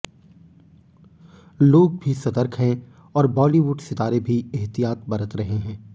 लोग भी सतर्क हैं और बॉलीवुड सितारे भी एहतियात बरत रहे हैं